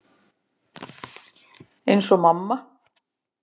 Eins og mamma.